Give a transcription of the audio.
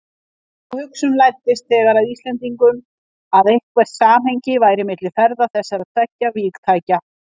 Sú hugsun læddist þegar að Íslendingum, að eitthvert samhengi væri milli ferða þessara tveggja vígtækja.